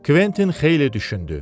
Kventin xeyli düşündü.